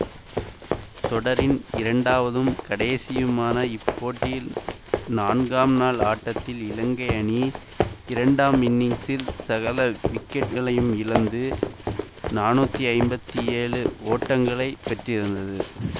தொடரின் இரண்டாவதும் கடைசியுமான இப்போட்டியில் நான்காம் நாள் ஆட்டத்தில் இலங்கை அணி இரண்டாம் இன்னிங்சில் சகல விக்கெட்டுகளையும் இழந்து நானூற்றி ஐம்பத்தி ஏழு ஓட்டங்களை பெற்றிருந்தது